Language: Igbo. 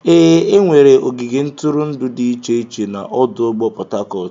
Ee, enwere ogige ntụrụndụ dị iche iche na ọdụ ụgbọ Port Harcourt.